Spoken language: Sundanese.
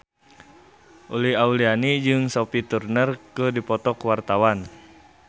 Uli Auliani jeung Sophie Turner keur dipoto ku wartawan